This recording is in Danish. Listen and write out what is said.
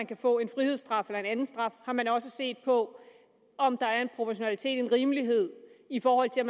kan få en frihedsstraf eller en anden straf har man også set på om der er en proportionalitet en rimelighed i forhold til